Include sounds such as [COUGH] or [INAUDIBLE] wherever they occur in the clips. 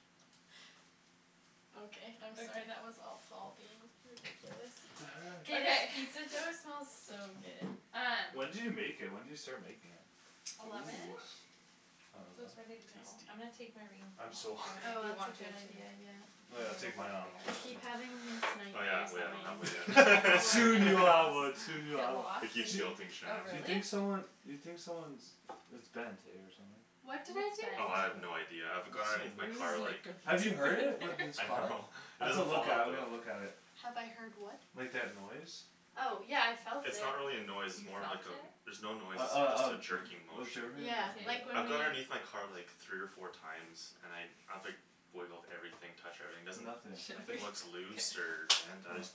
[LAUGHS] Okay I'm sorry that was all Paul being ridiculous What Oh the K heck? this guy- pizza dough smells so good Um When did you make it? When did you start making it? Ooh eleven-ish? So it's ready to go. I'm gonna take my rings Tasty I'm so off, I don't hungry know Oh if you that's want a to good too idea, yeah Oh yeah I'll take mine off, too, I here keep having these Oh yeah, nightmares oh yeah that my engagement I don't ring have one [LAUGHS] will like yet [LAUGHS] Soon get you'll have lost one, soon you'll Get have one lost? I keep Mhm guilting Oh Shan You think really? someone you think someone's it's bent eh, or something What What's did I bent? do? Oh I have no idea, I've That's gone underneath my car so [INAUDIBLE] like Have you [INAUDIBLE] heard it? With this I car? know [LAUGHS] It I've to doesn't look fall at it, out I've though gotta look at it Have I heard what? Like that noise? Oh, yeah I felt it It's not really a noise, it's You more felt like a it? there's no noise Uh it's just a uh jerking motion uh Yeah, K like [INAUDIBLE] when I've gone we- underneath my car like three or four times and I I've like wiggled everything, touched everything, there's Nothing Should we? nothing looks K loose or bent, I Hm just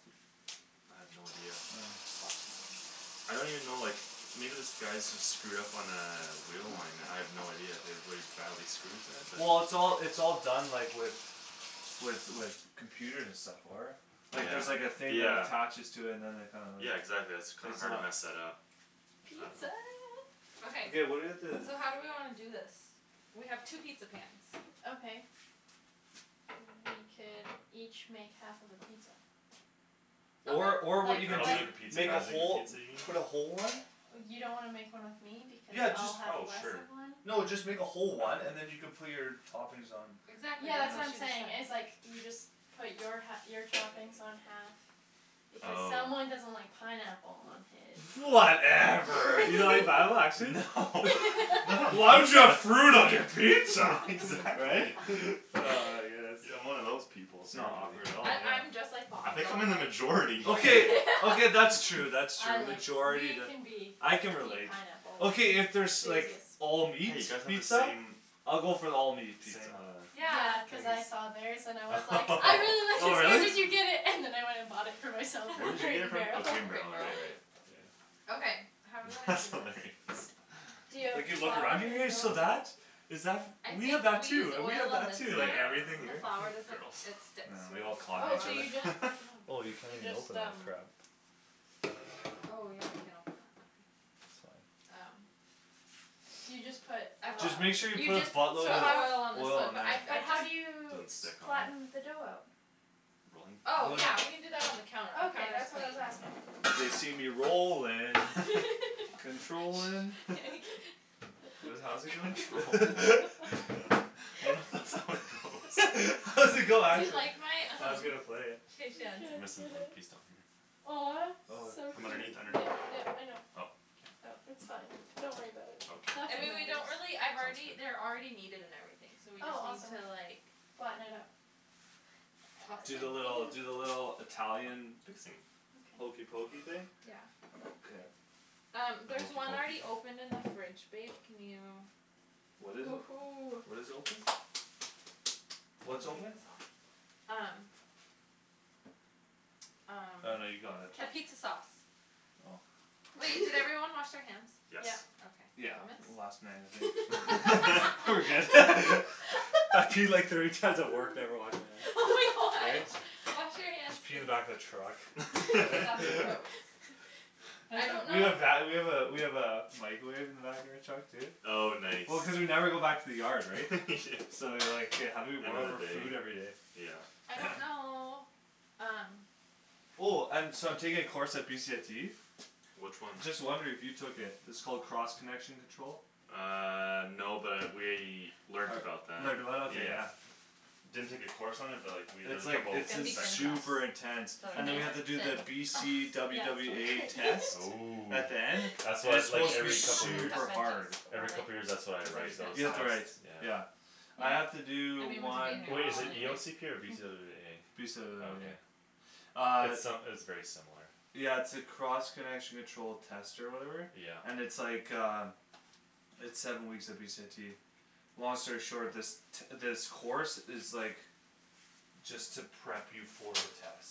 I have no idea Huh [INAUDIBLE] I don't even know like, maybe this guy's just screwed up on a wheel line and I have no idea, I have really badly screwed it but Well it's all it's all done like with with with computers and stuff, for it Like there's like a Yeah, thing that yeah attaches to it and then they kinda like Yeah exactly, that's kinda it's hard to not mess that up I dunno Pizza Okay Okay what do we have to so how do we wanna do this? We have two pizza pans Okay We could each make half of a pizza Or or what you Like could girls do make a [INAUDIBLE] pizza, make a guys make a whole pizza, you put a whole mean? one You don't wanna make one with me because Yeah, I'll just have Oh less sure of one? No, just make a whole one and then you can put your toppings on You Exactly, Yeah that's that's what what I'm she was know? saying saying, is like you just put your hal- your toppings on half, because someone Oh doesn't like pineapple on his Whatever You don't like [LAUGHS] pineapple, actually? Why would you have fruit on your pizza? [LAUGHS] Right? Exactly Ah, I [LAUGHS] guess I'm one of those people, sorry S'not awkward dude at all, I- I'm yeah just like Paul, I I think I'm don't in the like majority Okay, okay [LAUGHS] that's true, that's I true, like majority that, I can [INAUDIBLE] relate pineapple Okay if there's like, [INAUDIBLE] all meat Hey you guys have the pizza? same, same I'll uh [INAUDIBLE] go for the all meat pizza Yeah, cuz I saw theirs and I was like, I really like [LAUGHS] Oh this where really? did you get it? And then I went and bought it for myself [LAUGHS] Where from did you Crate get it and from? Crate Barrel Oh [LAUGHS] Crate and and Barrel right right Barrel Yeah Okay, how do we wanna That's do hilarious this? [LAUGHS] D'you have [INAUDIBLE] you look flour around in here, your? [INAUDIBLE] [INAUDIBLE] Is that I f- we think have that we use too, we oil have on that this too, one, like Yeah everything the here flour r- doesn't girls, it I sticks yeah know, we when there's all a [INAUDIBLE] Oh, flour on so you it each just other Oh you can't You even just, open that um crap Oh yeah, we can't open that. Okay It's fine Um So you just put uh, Just make sure you you put a just so So buttload of oil on this oil one all on but there I've I but how do you just Don't s- stick on it? flatten the dough out? Rolling? Oh Oh yeah yeah, we [INAUDIBLE] can do that on the counter, the Okay, counter's that's what clean I was asking They see me rollin', controllin' [LAUGHS] Shh What does it how Controllin'? does [LAUGHS] it go? [LAUGHS] I don't th- that's how it [LAUGHS] goes [LAUGHS] How does it go, Do you actually? like my, I was um, gonna play it He can't Rest of it get [INAUDIBLE] one it piece down here Aw. Oh, So From put cute, underneath, underneath? yeah yeah I [INAUDIBLE] know Oh Oh, k It's fine, don't worry about it I Nothing mean Okay, we matters don't really I've sounds already they're good already kneaded and everything, so we Oh just need awesome to like Flatten it out Toss Do the little it do the [INAUDIBLE] little Italian Fixing hokey Okay pokey thing? Yeah K Um, The there's hokey one already pokey? open in the fridge, babe, can you What is it? Woohoo. What is open? What's open? Um Um, Oh no you got it capizza sauce Oh Wait, did everyone wash [LAUGHS] their hands? Yes Yep Yeah, Okay. Thomas? last night I think [LAUGHS] We're [LAUGHS] good [LAUGHS] I peed like [LAUGHS] thirty times at work, never washed Oh my my hands, god, eh? [LAUGHS] wash your hands please Just pee in the back of the truck K, that's [LAUGHS] gross [LAUGHS] I don't We know have va- we have a we have a microwave in the back of our truck too Oh nice Well cuz we never go back to the yard, right? [LAUGHS] So like, Yeah how do we warm up our Everyday, food everyday? yeah I don't know, um Oh um so I'm taking a course at BCIT? Which one? Just wondering if you took it, it's called cross connection control? Uh no, but I we learned about that, Learned about it? Ok yeah yeah Didn't take a course on it but like we had It's like, It's it's gonna in be thin to crust super [INAUDIBLE] intense [INAUDIBLE] Ugh And then Is we have to that do the ok? B Thin C crust W yeah it's W totally A great [LAUGHS] test. Ooh At the end. That's And wha- it's it's like supposed Hey, to be we every should [INAUDIBLE] like couple years this, super hard or Every like, couple years that's what I cuz they're write, just those You have tests? gonna to write, [INAUDIBLE] Yeah yeah I Yeah have to I do mean [INAUDIBLE] one Wai- is it E anyways O C P or B C W W Mm. B A? Okay [INAUDIBLE] Uh It's uh it's very similar Yeah it's a cross connection control test or whatever? Yeah And it's like uh It's seven weeks at BCIT Long story short, this t- this course is like, just to prep you for the test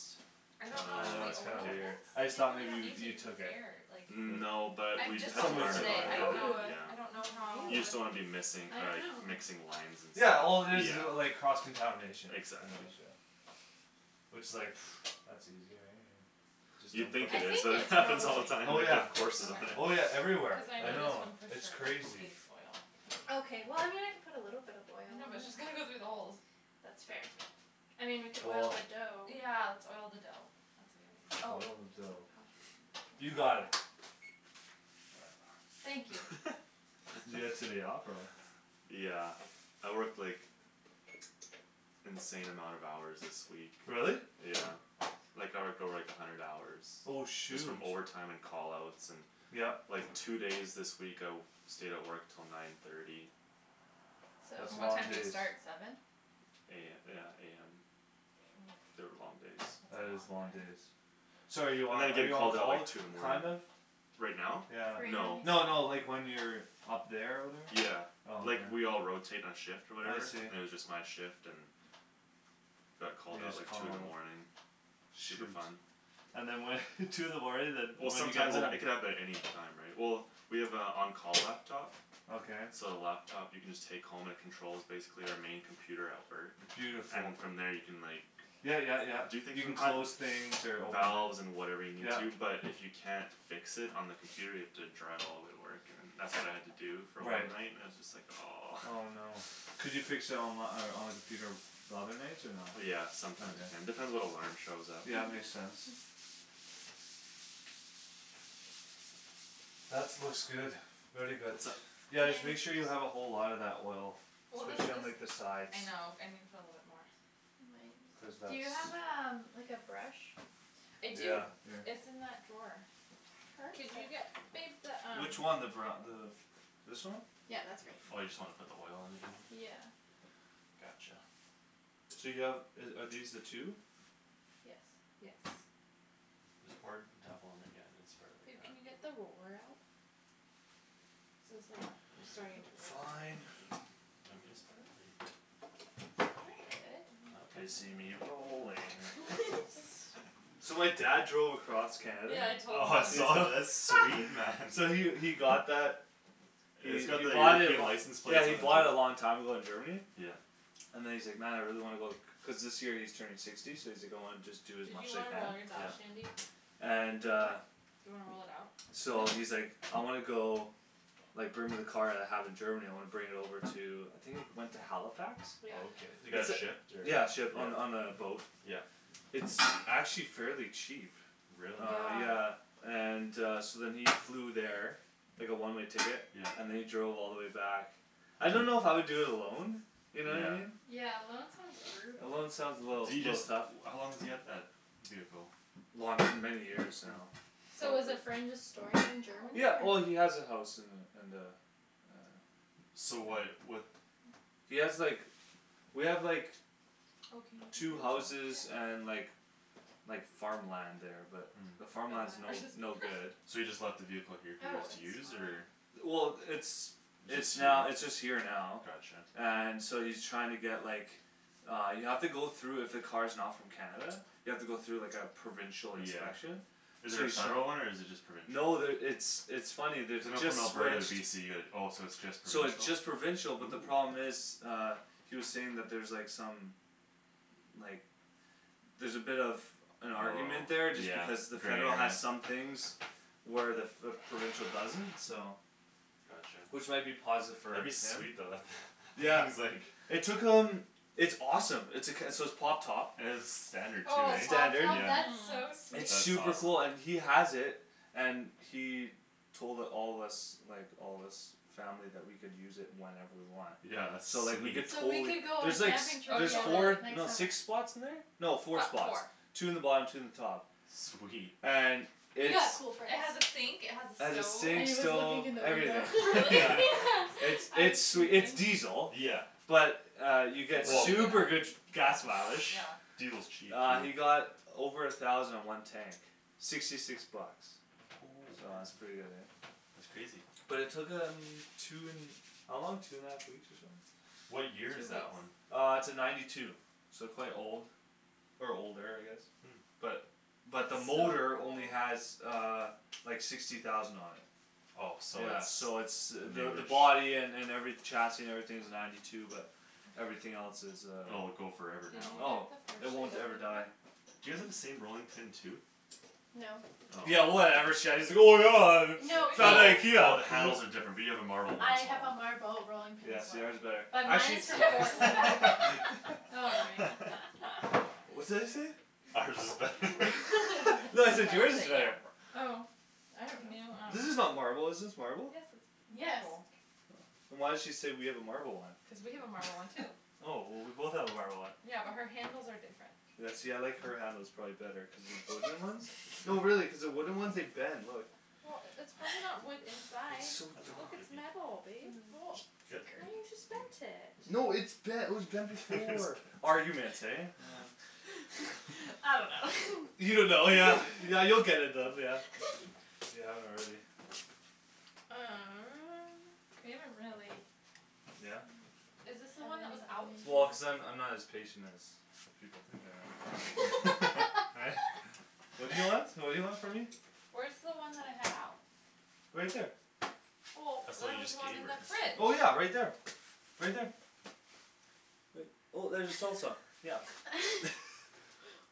I don't know, And should we Oh. that's kinda oil weird I this? okay just They thought do it maybe on you you YouTube so took it's it air, like No, but I've we just had bought to Somewhat this learn that, how to similar, today, I do yeah don't know, that, Ooh I don't know yeah how Ew, You just don't wanna be missing I uh dunno mixing lines and stuff, Yeah, all it is is like, cross yeah contamination Exactly [INAUDIBLE] Which is like, [NOISE] that's easy right, I mean Just You'd don't put think I it is, think but it it's happens [INAUDIBLE] all the probably time Oh which is we yeah, have [INAUDIBLE] courses on it oh Okay, yeah everywhere, cuz I I know this know, one for it's sure crazy needs oil Okay well I mean I can put a little bit of oil No on but it just gonna go through the holes That's fair I mean we could oil Cool the dough Yeah, let's oil the dough. That's a good idea. Oh, Oil the dough how should You got we [INAUDIBLE] it Whatever. Thank you [LAUGHS] Did you get today off, or what? [LAUGHS] Yeah, I worked like, insane amount of hours this week Really? Yeah, like I would go like a hundred hours Oh Just from shoot overtime and call outs, and Yep like two days this week I w- stayed at work till nine thirty That's And what long time So do you days start, seven? A- yeah, AM. Mm, They were long days that's a That is long long day days So are you I'm on gonna are get you on called out call, like t- two in the morning kind of? Right now? Yeah Right No now No no, he's like when [INAUDIBLE] you're up there or whatever? Yeah, Oh okay like we all rotate our shift or I whatever, see and it was just my shift and Got called You out just like call two in a the lot morning, super Shoot fun And then what [LAUGHS] two in the morning then Well when do you get sometimes it home? it could happen at any time, right? Well, we have a on call laptop Okay So the laptop you can just take home and it controls basically our main computer at work Beautiful And from there you can like, Yeah yeah yeah, do things you can from close things or [INAUDIBLE] open Valves and [INAUDIBLE] whatever you need Yeah to, but if you can't fix it on the computer you have to drive all way to work and that's what I had to do for one Right night, it was just like aw Oh no Could you fix it onli- on the computer the other nights, or not? Yeah, sometimes you can, depends what alarm shows up Yeah, makes sense [NOISE] That's looks good, very good What's up? Yeah just make Thanks sure you have a whole lotta that oil, Well this specially on like the this, sides I know, I needa put a little bit more Cuz [INAUDIBLE] Do that's you have a um- like a brush? I do, Yeah, here it's in that drawer Could Perfect you get babe the um Which one, the bru- the, this one? Yeah, that's great Oh you just wanna put the oil on even? Yeah Gotcha So you have uh are these the two? Yes Yes This part, tap on that yeah, then spread it like Babe, that can you get the roller out? So it's like, starting to rip a Fine bit You want me to spread it, or I'm you good? good Okay They see me [NOISE] rolling [LAUGHS] So my dad drove across Canada Yeah, I told them. Oh I saw that, that's sweet man Yeah we we got that, [INAUDIBLE] we we bought it lo- license plate yeah we bought it a long time [INAUDIBLE] ago in Germany Yeah And then he's like, man I really wanna go, cuz this year he's turning sixty so he's like going just do as Did much you as he wanna can roll yours out, Yeah Shandy? And Do I uh what? Do you wanna roll it out? So Nope he's like, I wanna go, like bring my car that I have in Germany, I wanna bring it over to, I think it went to Halifax? Okay, Yeah it got shipped or, yeah Yeah, shipped on on a boat Yeah It's actually fairly cheap Really? Uh Yeah yeah, and uh so then he flew there Like a one-way ticket, Yeah and then he drove all the way back I don't know if I would do it alone, you know? Yeah Yeah, alone sounds brutal Alone sounds a little, Do you little just tough how long does he have that vehicle? Long- many years now, So Mm. was a probably friend just storing it in Germany Yeah, well he or? has a house in the in the uh So why'd what He has like we have like Oh can you move two that to houses the back? Yeah and like like farmland there, but the The farmland's Mhm. no batter's just no good So he perf- [LAUGHS] just left the vehicle here for you Oh, guys to it's use, or fine Well, it's it's now it's just Just here? here now Gotcha And so he's trying to get like, uh you have to go though if a car's not from Canada, you have to go through like a provincial Yeah inspection Is So there a he's tr- federal one or is it just No, provincial? there it's it's funny, there's So a not just from Alberta to switched BC, it oh it's just So it's just provincial? provincial, but the Ooh problem is uh, he was saying that's there like some like, there's a bit of an argument Oh there just yeah, because the federal there has is some things where the- f- the provincial doesn't, so Gotcha Which might be positive for That'd be like sweet though, that him th- Yeah, he's like it took him, it's awesome, it's a c- so it's pop top It's standard too, Oh, right? pop Standard. top? Yeah That's so Mm sweet That's It's awesome super cool and he has it And he told it- all of us, like all us family that we could use it whenever we want Yeah that's So like we sweet could So we could totally go on there's like camping s- trip Oh there's together four, totally next no summer six spots in there? No Fo- four spots, four two in the bottom two in the top Sweet And it's Yeah, cool friends It has a sink, it has It a has a stove And sink, he was looking stove, in the Oh everything, window really? yeah [LAUGHS] It's [LAUGHS] [LAUGHS] Yeah [INAUDIBLE] it's it's diesel, Yeah but uh you [INAUDIBLE] get Well super good gas mileage Yeah Diesel's cheap, Uh dude you got over a thousand in one tank, sixty six bucks Oh, So that's man. pretty good eh That's crazy Well it took him, two n- how long, two and a half weeks or something? Two What year is weeks that one? Uh it's a ninety two, so quite old Or older, I guess Hmm But but the That's so motor old only has uh like sixty thousand on it Oh so Yeah so it's it's the the new-ish body an- and every chassis and everything's ninety two but everything else is uh Oh, it go Did you forever Oh, now get the [INAUDIBLE] it won't ever open? die [INAUDIBLE] Do you all have the same rolling pin too? No Oh Yeah [INAUDIBLE] From No, No. I oh IKEA the handles are different, we have a marble one as have a well marble rolling pin Yeah, as well yours is better. But I mine can't is from Portland All right [LAUGHS] [LAUGHS] What's that you say? Ours is better [LAUGHS] [INAUDIBLE] No I [LAUGHS] said yours is better Yapper Oh I don't know Yours is not marble, is this Yes it's marble? Yes marble Oh. Then why'd she say we have a marble Cuz one? we have a marble one too Oh, well we both have a marble one Yeah, but her handles are different Yeah see I like her handles probably better cuz the wooden ones [LAUGHS] no really cuz the wooden ones, they bend, [LAUGHS] look Well, that's probably not wood [LAUGHS] inside, It's so look it's metal [INAUDIBLE] babe Oh, Mm why you Great just bent it No it's bent it was bent [LAUGHS] before It's Arguments, bent eh? Uh [LAUGHS] I don't know You don't know, yeah yeah you'll get it bent yeah, if you [LAUGHS] if you haven't already Uh We haven't really Yeah? Is this the How one that was are out? we Well going cuz I'm I'm not to as patient as people think I am Yeah, right? What do you want? [LAUGHS] [LAUGHS] What do you want from me? Where's the one that I had out? Right there Well, That's the one there you was just one gave in her the fridge Well yeah right there, right there Right well there's the salsa, yeah [LAUGHS]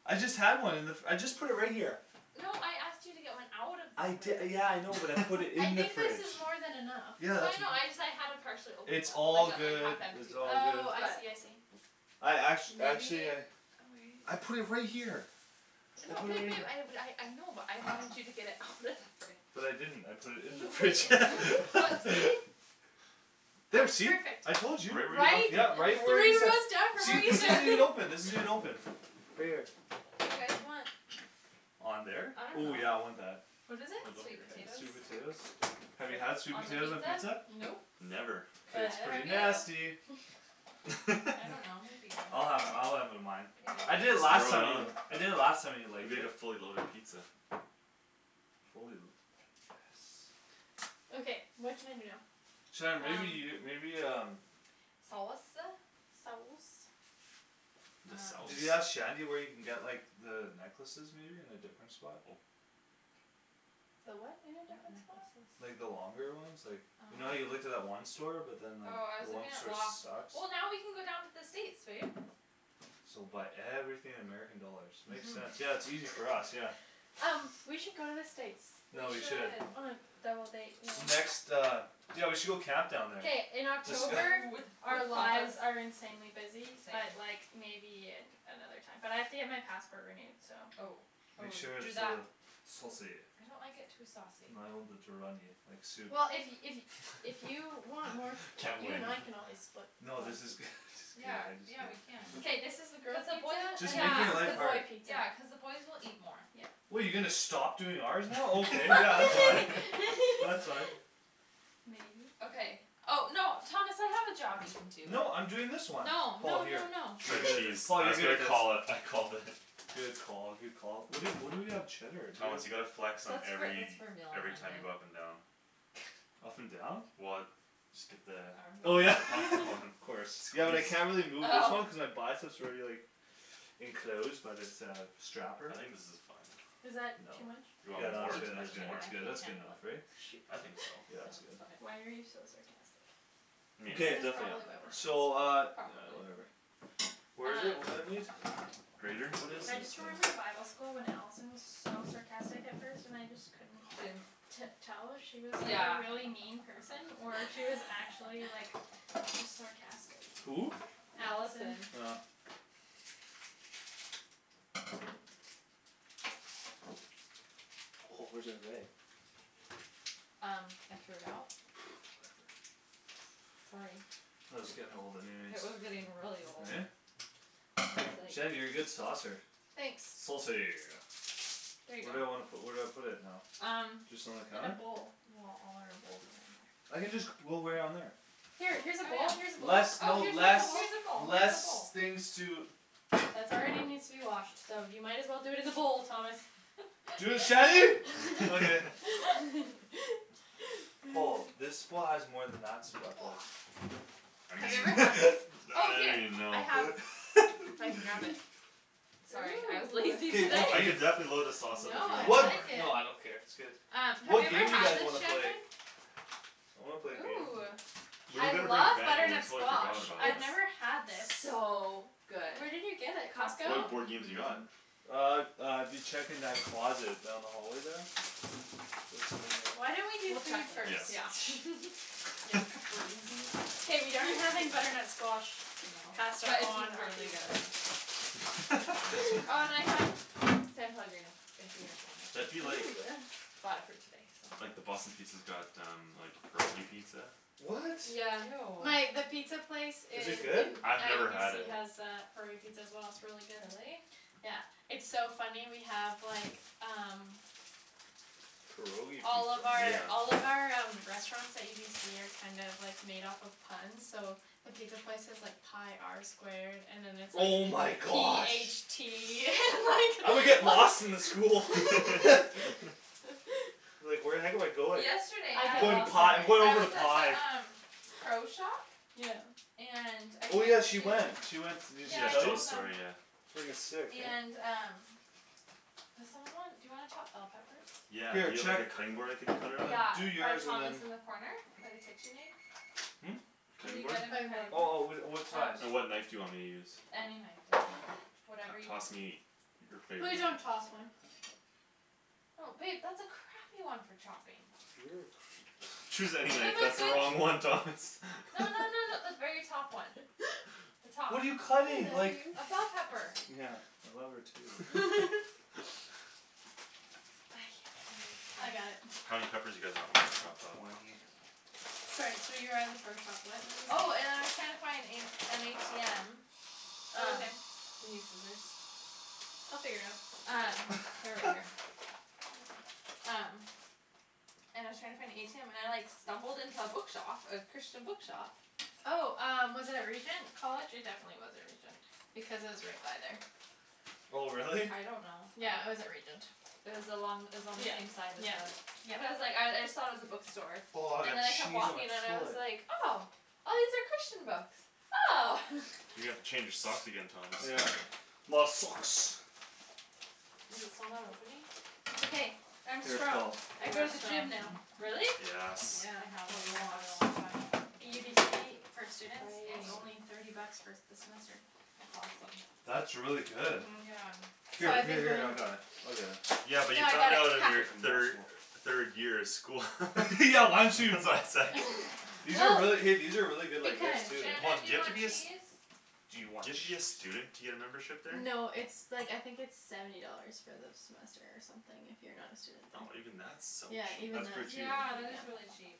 I just had one in the f- I just put it right here No, I asked you to get one out of I the di- fridge yeah I know, but I put it I in the think this fridge [LAUGHS] is more than enough Yeah, No I that's it- know, ju- I just- I had a partially open it's one, all like a like good, half it's empty one, all good Oh I but see I see I act- actually Maybe I I put oh wait it right here I No, put it babe right babe, here I had a I know, but I wanted you to get it out of the fridge But I didn't, I put it in the You put it fridge in the fridge. Well [LAUGHS] see? Oh, There see, perfect I told you! Right where you Right? left it Yeah, Three right, where you ta- rows down from where see this isn't even you [INAUDIBLE] open, this isn't even open Right here Do you guys want On there? I don't Ooh yeah know I want that What is it? Sweet potatoes Sweet [INAUDIBLE] potatoes? Have you had sweet On the potatoes on pizza? pizza? Nope Never K. But It's neither pretty [INAUDIBLE] have you nasty [LAUGHS] I don't know, might be I'll good have I'll have it on mine I Yeah did I last Load it time know you do it, on, [INAUDIBLE] I did it last time and I liked make a it fully loaded pizza Fully lu- yes Okay, what can I do now Shan, maybe you, maybe um Um. Saus- uh? Sauce The sauce Did you Um ask Shandy where you can get like the necklaces maybe in a different spot? Oh. The what in a What different spot? Like the necklaces? longer ones like, you know how you looked at uh-huh that one store but then like, Oh, I the was one looking at store Loft sucks? Well now we can go down to the States, babe So buy everything in American dollars, makes sense, yeah Mhm it's easier for us, yeah Um, we should go to the States We No, we should should On a double date, yeah Next uh, yeah we should go camp down there K, in October Ooh, with [INAUDIBLE] our our lies lives are insanely busy but like, maybe another time But I have to get my passport renewed so Oh, oh Make sure do it's that uh, saucy I don't like it too [INAUDIBLE] saucy too runny, like soup Well if if if you [LAUGHS] want more [LAUGHS] s- Can't you and win I can always split No this is good, this is good Yea, yeah we can K, I this is the Yeah, just [INAUDIBLE] girls cuz pizza, and Just make then this is the boy it pizza [INAUDIBLE] the boys will eat more Yeah What you gonna stop doing ours now? Okay yeah, you can. [LAUGHS] That's right [LAUGHS] [LAUGHS] Maybe Okay oh, no Thomas I have a job you can do No I'm doing this one No, Paul no here no no [INAUDIBLE] Shred cheese, Tom [LAUGHS] I was gonna call it, I called it Good call, good call. Where do- where do we have cheddar? Do we Thomas you gotta flex on That's for- that's every, for meal on every time you Monday go up and down [INAUDIBLE] and down? Well, just get the Oh yeah Armband? [LAUGHS] optimum Of [INAUDIBLE] [LAUGHS] course. Yeah well squeeze I can't really move this Oh one cuz I buy it so it's already like enclosed by this uh strapper I think this is fine Is No, that No. too much? you Way too much, Yeah I want no no- that's more? good that's [INAUDIBLE] good more that's I good can't that's good handle enough, it right? Shoot. I think so. [LAUGHS] Yeah it's good Sounds [LAUGHS] Why fine are you so sarcastic? Meat, Good, That's definitely probably why we're add so uh, more friends Probably yeah, whatever. Um [INAUDIBLE] Grater? What is I this just thing? remembered bible school when Allison was so sarcastic at first and I just couldn't- Didn't t- tell if she was like a Yeah really mean person or if she was actually like, [LAUGHS] just sarcastic Who? Allison Allison Oh Oh where's [INAUDIBLE] Um, I threw it out? [NOISE] Whatever Sorry It was getting old anyways It was getting really old Eh? It was Shandy, like you're a good saucer Thanks Saucy There you Where do I go wanna pu- where do I put it now? Um Just on the In a counter? bowl Well all our bowls are in there I can just c- roll right on there Here, here's a bowl, Oh here's a yeah bowl oh Less no here's a less, bowl, [INAUDIBLE] here's a less things to bowl. That's already needs to be washed, so you might as well do it in the bowl, Thomas Dude, Shandy? Okay [LAUGHS] [LAUGHS] [LAUGHS] Wa I Have you ever mean, had this? [LAUGHS] Oh I don't here, even I know have, if I can grab it [LAUGHS] Sorry, I was lazy K, today what Ooh I game? could definitely load the sauce up No if you I want What more like it Uh, have you What ever game do you had guys this, wanna play? Shandryn? I wanna play a game Ooh, Where we I gonna bring [INAUDIBLE] love we butternut totally squash, forgot about I've it never had this It's so good Where did you get it, Costco? What Costco, board games you got? mhm Uh, uh dude check in that closet, down the hallway there? There's some in Why don't we there do We'll check food first? Yeah later, yeah [LAUGHS] K we aren't having butternut squash No, pasta but it's on our really pizza good [LAUGHS] Oh and I have San Pellegrino, if you guys want That'd be like, it Ooh Bought it for you today, so like the Boston Pizza's got um, pierogi pizza What? My- the Ew pizza place Is it in good? I've never had UBC it has a curry pizza as well, it's really good Really? Yeah, it's so funny we have like, um Pierogi All pizza of our [NOISE] all of Yeah our um restaurants at UBC are kind of like made off of puns, so the pizza place is like pi R squared, and then it's like Oh my p h gosh tea [LAUGHS] I would and get lost in the school like [LAUGHS] [LAUGHS] [LAUGHS] Like where the heck am I going? Yesterday I'm I going to pi, I'm going I over to was at pi the um Pro shop? Yeah And I Oh yeah, had she went, she to went s- did she Yeah Yeah, I she tell told you? us told the them story, yeah Frigging sick, And man um Does someone want dou you wanna chop bell peppers? Yeah, do Here, you have like check a cutting board I could cut it on? Yeah, Like, do by yours and Thomas then in the corner? By the KitchenAid? Hm? Can Cutting you board? get him my cutting Oh oh board? whi- uh, what size? Um And what knife do you want me to use? Any knife, doesn't matter T- Whatever you toss me your Please, favorite one don't toss one No babe, that's a crappy one for chopping You're a cra- Choose any Give knife, him a that's the good, wrong no one Thomas no no no the very [LAUGHS] top one The top What are you cutting? Like A bell pepper Yeah, I love her too [LAUGHS] [LAUGHS] I can't, I I got need [INAUDIBLE] it How many peppers do you guys want me to Like chop up? twenty Sorry so you were at the pro shop, what were you saying Oh and I was trying to find in an ATM Oh Um, okay do you need scissors They'll figure it out Um, they're right here [LAUGHS] Um And I was trying to find a ATM and I like stumbled into a bookshop, a Christian bookshop Oh um, was it at Regent College? It definitely wasn't Regent, because I was right by there Oh really? I don't know Yeah, I was at Regent It was along, it was on the same Yep, side as yep, the, but I was like, I I yep thought it was a bookstore, Aw, and that then I kept cheese walking and I was on like, [INAUDIBLE] oh, these are Christian books! Oh! You gotta change your socks again, Thomas Yeah My socks Is it still not opening? It's okay, I'm Here strong, Paul I You go are to the strong. gym now Really? Yes Yeah, I a haven't gone in a lot really long time UBC, for students, it's Awesome only Right thirty bucks for s- the semester That's awesome That's really good Mhm Yeah Here, What? here here I got it, I'll [INAUDIBLE] get it Yeah but No you I got found it, out in hah your thir- third year of school [LAUGHS] [LAUGHS] Yeah why don't That's you why was like These are really, hey Oh these are really good like veg Because too, Hold Shandryn, on, do do you you have to want be a eh s- cheese? Do Do you want you have to be a cheese? student to get a membership there? No it's like I think it's seventy dollars for the semester or something if you're not a student there Oh even that's so Yeah, cheap even That's that pretty cheap Yeah, that is really [INAUDIBLE] cheap